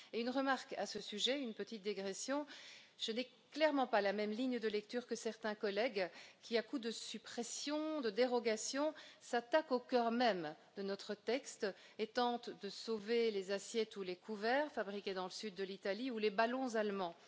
Et je ferai une petite observation à ce sujet je n'ai clairement pas la même ligne de lecture que certains collègues qui, à coup de suppressions, de dérogations, s'attaquent au cœur même de notre texte et tentent de sauver les assiettes ou les couverts fabriqués dans le sud de l'Italie, ou les ballons allemands.